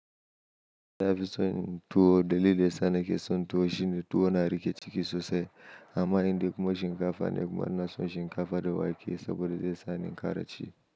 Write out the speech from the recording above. Nafi son tuwo dalili yasa nake son tuwo shine tuwo na riƙe ciki sosai amma indai kuma shinkafa ne kuma na son shinkafa da wake saboda zai sa ni in ƙara ci.